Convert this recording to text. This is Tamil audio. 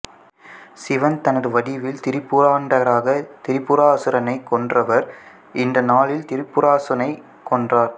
சிவன் தனது வடிவில் திரிபுராந்தகராக திரிபுராசுரனைக் கொன்றவர் இந்த நாளில் திரிபுராசுரனைக் கொன்றார்